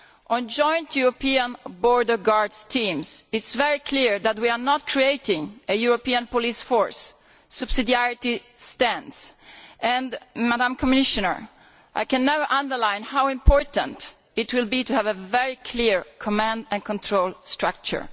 On joint European border guard teams, it is very clear that we are not creating a European police force. Subsidiarity stands and, Madam Commissioner, I can never underline enough how important it will be to have a very clear command and control structure.